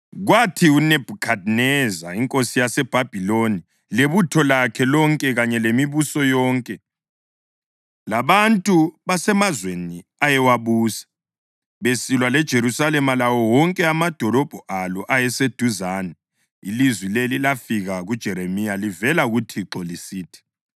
Kwathi uNebhukhadineza inkosi yaseBhabhiloni lebutho lakhe lonke kanye lemibuso yonke, labantu basemazweni ayewabusa besilwa leJerusalema lawo wonke amadolobho alo ayeseduzane, ilizwi leli lafika kuJeremiya livela kuThixo lisithi;